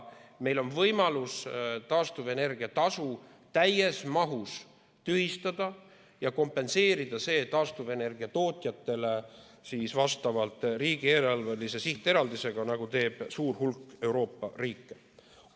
Meil on võimalus taastuvenergia tasu täies mahus tühistada ja kompenseerida see taastuvenergia tootjatele vastavalt riigieelarvelise sihteraldisega, nagu teeb suur hulk Euroopa riike.